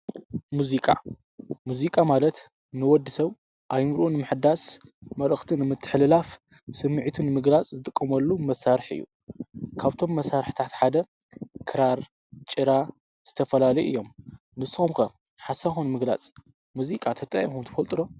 ሙዚቃ ሙዚቃ ማለት ንወዲ ሰብ ኣይምሩን ምሕዳስ መርኽትን ምትኅልላፍ ስምዕቱን ምግራጽ ዝጥቆመሉ መሣርሕ እዩ ካብቶም መሣርሕ ታዕትሓደ ከራር ጭራ ዝተፈላሊ እዮም ንስምከ ሓሳኾን ምግላጽ ሙዚቃ ተጣየምኹም ተፈልጡሮ።